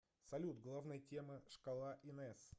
салют главная тема шкала инес